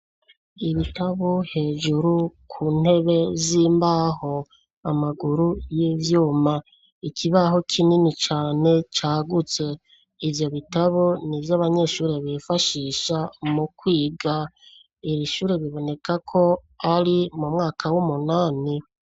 Ibitabo hejuru, ku ntebe z'imbaho, amaguru y'ivyuma, ikibaho kinini cane, cagutse; ivyo bitabo ni ivy'abanyeshure, bifashisha mu kwiga; iri shure, biboneka ko, ari mu mwaka w'umunani.